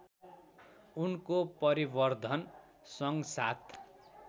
उनको परिवर्धन सँगसाथ